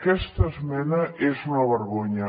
aquesta esmena és una vergonya